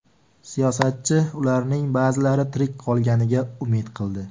Siyosatchi ularning ba’zilari tirik qolganiga umid qildi.